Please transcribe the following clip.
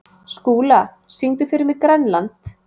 Skúla, syngdu fyrir mig „Grænland“.